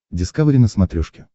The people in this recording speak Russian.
дискавери на смотрешке